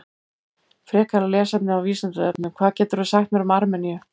Frekara lesefni á Vísindavefnum: Hvað getur þú sagt mér um Armeníu?